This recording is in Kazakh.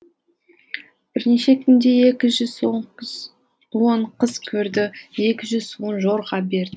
бірнеше күнде екі жүз он қыз он қыз көрді екі жүз он жорға берді